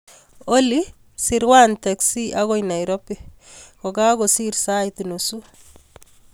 Olly sirwan teksi agoi nairobi kogokosir sait nusu